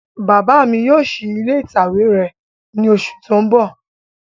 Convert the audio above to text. Bàbá mi yóò ṣí ilé ìtàwé rẹ̀ ní oṣù tí ó ń bọ̀